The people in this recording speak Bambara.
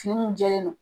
Fini min jɛlen don